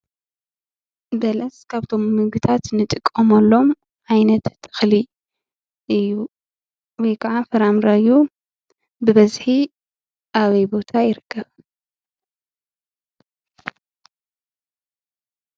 በለስ ካብቶም ንምግብነት ንጥቀመሎም ዓይነት ተኽሊ እዩ፡፡ ወይ ከዓ ፍራምረ እዩ፡፡ ብበዝሒ ኣበይ ቦታ ይርከብ?